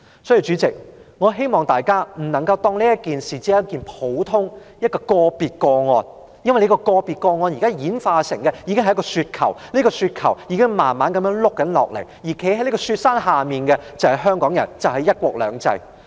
代理主席，我希望大家不要把這事視為一件普通或個別的個案，因為這宗個別個案正演化成一個雪球，而這個雪球正慢慢滾下來，站在這個雪山之下的就是香港人和"一國兩制"。